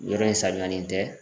Yɔrɔ in sanuyalen tɛ.